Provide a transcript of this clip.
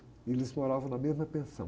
E eles moravam na mesma pensão.